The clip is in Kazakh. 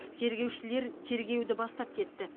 тергеушілер тергеуді бастап кетті